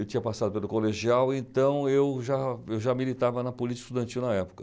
Eu tinha passado pelo colegial, então eu já eu já militava na política estudantil na época.